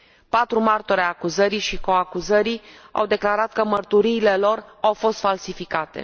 Patru martori ai acuzării și coacuzării au declarat că mărturiile lor au fost falsificate.